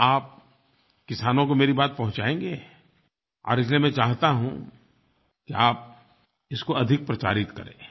क्या आप किसानों को मेरी बात पहुँचायेंगे और इसलिए मैं चाहता हूँ कि आप इसको अधिक प्रचारित करें